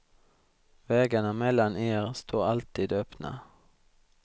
Vägarna mellan er står alltid öppna.